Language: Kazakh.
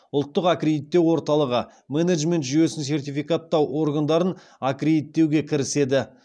ұлттық аккредиттеу орталығы менеджмент жүйесін сертификаттау органдарын аккредиттеуге кіріседі